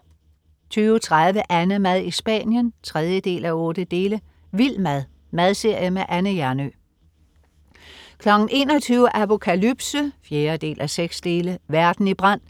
20.30 AnneMad i Spanien 3:8. Vild mad. Madserie med Anne Hjernøe 21.00 Apokalypse 4:6. Verden i brand.